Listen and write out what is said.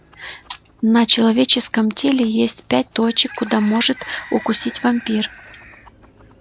на человеческом теле есть пять точек куда может укусить вампир